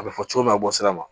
A bɛ fɔ cogo min na a bɔ sira ma